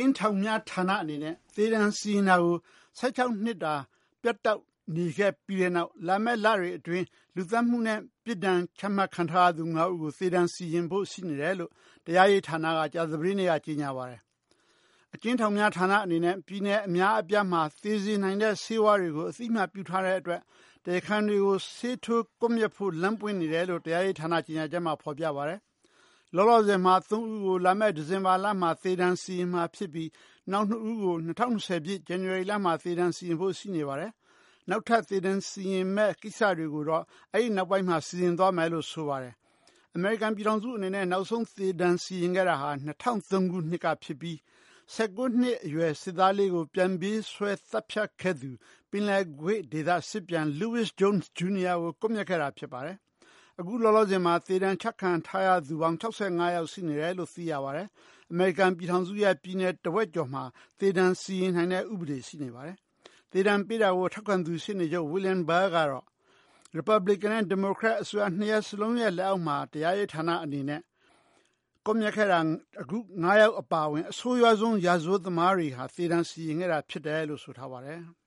ဉ်းထောင်များဌာနအနေနဲ့ သေဒဏ်စီရင်တာကို ၁၆ နှစ်တာ ပြတ်တောက်နေခဲ့ပြီးတဲ့နောက် လာမယ့် လတွေအတွင်း လူသတ်မှုနဲ့ ပြစ်ဒဏ်ချခံထားရသူ ၅ ဦးကို သေဒဏ်စီရင်ဖို့ရှိနေတယ်လို့ တရားရေးဌာနက ကြာသပတေးနေ့က ကြေညာပါတယ်။ အကျဉ်းထောင်များ ဌာနအနေနဲ့ ပြည်နယ်အများအပြားမှာ သေစေနိုင်တဲ့ ဆေးဝါးတွေကို အသိအမှတ် ပြုထားတဲ့အတွက် တရားခံတွေကို ဆေးထိုးကွပ်မျက်ဖို့လမ်း ပွင့်နေတယ်လို့ တရားရေးဌာန ကြေညာချက်မှာ ဖော်ပြထားပါတယ်။ လောလောဆည်မှာ ၃ ဦးကို လာမယ့် ဒီဇင်ဘာလမှာ သေဒဏ်စီရင်မှာ ဖြစ်ပြီး နောက် ၂ ဦးကို ၂၀၂၀ ဇန်နဝါရီလမှာ သေဒဏ် စီရင်ဖို့ရှိနေပါတယ်။ နောက်ထပ် သေဒဏ် စီရင်မယ့် ကိစ္စတွေကိုတော့ အဲဒီနောက်ပိုင်းမှာ စီရင်သွားမယ်လို့ ဆိုပါတယ်။ အမေရိကန် ပြည်ထောင်စုအနေနဲ့ နောက်ဆုံးသေဒဏ်စီရင်ခဲ့တာဟာ ၂၀၀၃ ခုနှစ်က ဖြစ်ပြီး ၁၉ နှစ်အရွယ် စစ်သားလေးကို ပြန်ပြေးဆွဲ သတ်ဖြတ်ခဲ့သူ ပင်လယ်ကွေ့ဒေသစစ်ပြန်Louis Jones Jr. ကို ကွပ်မျက်ခဲ့တာဖြစ်ပါတယ်။ အခုလောလောဆည်မှာ သေဒဏ်ချခံထားရသူပေါင်း ၆၅ ယောက် ရှိနေတယ်လို့ သိရပါတယ်။ အမေရိကန်ပြည်ထောင်စုရဲ့ ပြည်နယ် တဝက်ကျော်မှာ သေဒဏ်စီရင်နိုင်တဲ့ ဥပဒေရှိနေပါတယ်။ သေဒဏ်ပေးတာကို ထောက်ခံသူ ရှေ့နေချုပ် William Barr ကတော့ Republican နဲ့ ဒီမိုကရက် အစိုးရ ၂ ရပ်စလုံးရဲ့ လက်အောက်မှာ တရားရေးဌာနအနေနဲ့ ကွပ်မျက်ခဲ့တာ အခု ၅ ယောက်အပါအဝင် အဆိုးရွားဆုံး ရာဇဝတ်သမားတွေကို သေဒဏ် စီရင်ခဲ့တာဖြစ်တယ်လို့ ဆိုထားပါတယ်။